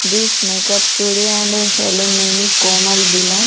This makeup studio and salon name is Komal Dhillon.